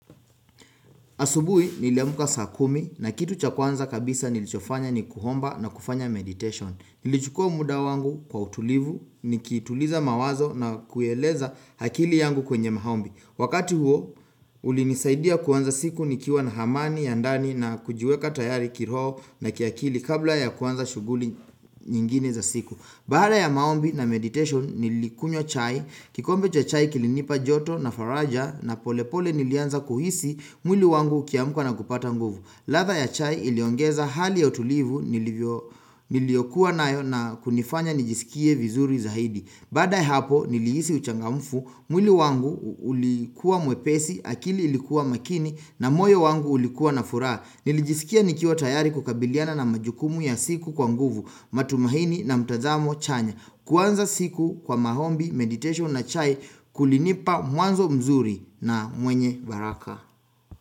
Asubui nilimka saa kumi, na kitu cha kwanza kabisa nilichofanya ni kuhomba na kufanya meditation. Hh Nilichukua muda wangu kwa utulivu, nikituliza mawazo na kueleza hakili yangu kwenye mahombi. Hhh Wakati huo, ulinisaidia kwanza siku nikiwa na hamani, yandani na kujiweka tayari kiroo na kiakili kabla ya kwanza shuguli nyingine za siku. Hh Baada ya maombi na meditation nilikunywa chai, kikombe chai kilinipa joto na faraja na polepole nilianza kuhisi mwili wangu ukiamuka na kupata nguvu. Hh nh radha ya chai iliongeza hali ya utulivu nilivyo niliyokuwa nayo na kunifanya nijisikie vizuri zaidi.hhh Bada hapo niliisi uchangamfu, mwili wangu ulikuwa mwepesi, akili ilikuwa makini na moyo wangu ulikuwa na furaa. Nilijisikia nikiwa tayari kukabiliana na majukumu ya siku kwa nguvu, matumahini na mtazamo chanya. Hh kuanza siku kwa mahombi, meditation na chai kulinipa mwanzo mzuri na mwenye baraka.